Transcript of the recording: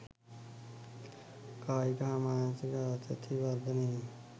කායික හා මානසික ආතතිය වර්ධනය වී